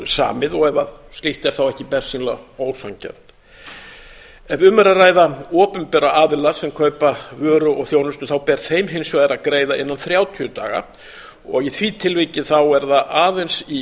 samið og ef slíkt er þá ekki bersýnilega ósanngjarnt ef um er að ræða opinbera aðila sem kaupa vöru og þjónustu ber þeim hins vegar að greiða innan þrjátíu daga og í því tilviki er það aðeins í